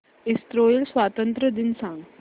Israel स्वातंत्र्य दिन सांग